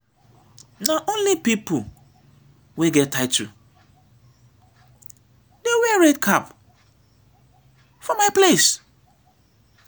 na only pipo wey get title dey wear red cap for my place.